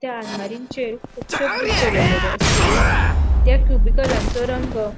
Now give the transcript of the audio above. त्या आलमारीचेर कुबशे बुक दोवरलेले आसात त्या रंग --